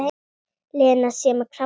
Lena sé með krabba.